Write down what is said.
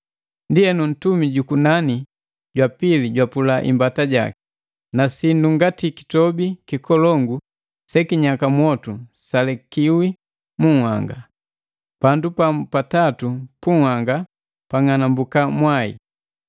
Ndienu ntumi jukunani jwa pili jwapula imbata jaki. Na sindu ngati kitombi kikolongu se kinyaka mwotu salekiwi mu nhanga. Pandu pamu pa tatu punhanga pang'anambuka mwai,